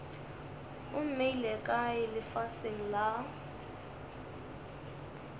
o mmeile kae lefaseng la